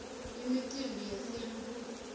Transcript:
imicimbi yesintfu